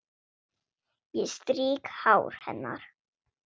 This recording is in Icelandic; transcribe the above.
Ég strýk hár hennar.